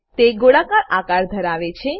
તે ગોળાકાર આકાર ધરાવે છે